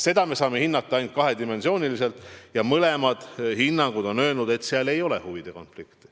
Seda me saame hinnata ainult kahest aspektist ja mõlemad hinnangud on öelnud, et seal ei ole huvide konflikti.